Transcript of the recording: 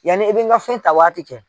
Yanni i bi n ka fɛn ta waati cɛ